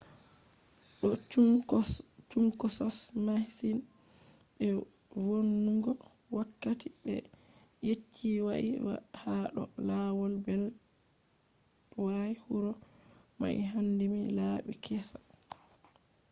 wodi chunkosos masin be vonnugo wakkati be yecci wai ha do lawol beltway huro mai handini labi kessa